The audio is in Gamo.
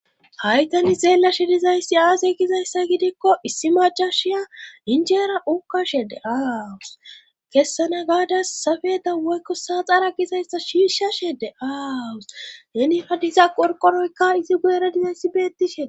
Hay tani xeelashe dizayssi aasey gizayssa gidikko issi majashiya injeera ukashede aawus kessana gaadas sabeda woykko saaxara gizayssa shiishashe de7aawus henifadiza qorqoroyka izi guyera dizayssi bettishee